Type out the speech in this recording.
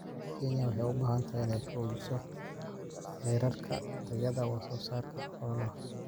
Kenya waxay u baahan tahay inay xoojiso heerarka tayada wax soo saarka xoolaha.